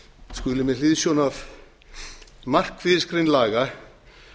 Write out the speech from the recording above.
skuli með hliðsjón af markmiðsgrein laga